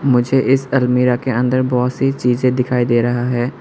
मुझे इस अलमीरा के अंदर बहुत सी चीजें दिखाई दे रहा है।